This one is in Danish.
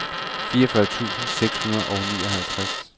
fireogfyrre tusind seks hundrede og nioghalvtreds